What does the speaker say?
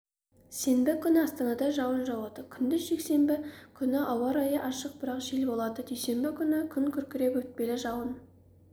сенбі күні астанада жауын жауады күндіз жексенбі күні ауа райы ашық бірақ жел болады дүйсенбі күні күн күркіреп өтпелі жауын